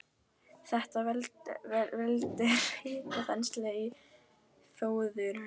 Þetta veldur mikilli hitaþenslu í fóðurrörum.